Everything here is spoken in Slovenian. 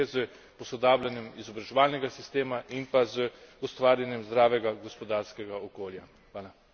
Dolgoročno pa lahko problem rešimo le s posodabljanjem izobraževalnega sistema in pa z ustvarjanjem zdravega gospodarskega okolja.